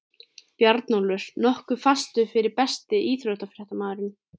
Bjarnólfur nokkuð fastur fyrir Besti íþróttafréttamaðurinn?